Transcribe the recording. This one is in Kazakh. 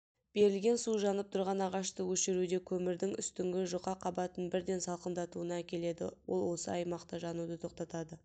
берілген су жанып тұрған ағашты өшіруде көмірдің үстінгі жұқа қабатын бірден салқындатуына әкеледі ол осы аймақта жануды тоқтатады